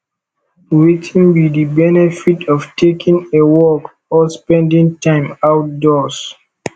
wetin be di benefit of taking a walk or spending time outdoors